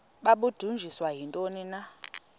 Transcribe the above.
babudunjiswe yintoni na